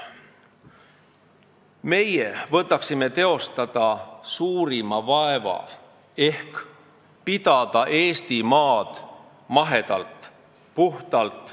Meie võtaksime teostada suurima vaeva ehk peaksime Eestimaad mahedalt ja puhtalt.